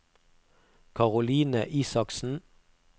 Caroline Isaksen